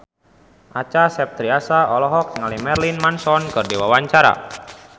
Acha Septriasa olohok ningali Marilyn Manson keur diwawancara